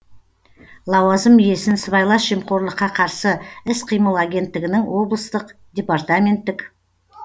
лауазым иесін сыбайлас жемқорлыққа қарсы іс қимыл агенттігінің облыстық департаменттік